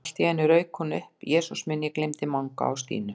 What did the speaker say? En allt í einu rauk hún upp: Jesús minn, ég gleymdi Manga og Stínu